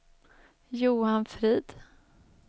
Johan Frid